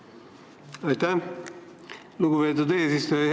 Aitäh, lugupeetud eesistuja!